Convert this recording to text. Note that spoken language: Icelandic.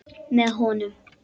Með honum.